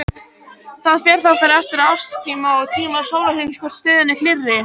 Það fer þá eftir árstíma og tíma sólarhrings hvor stöðin er hlýrri.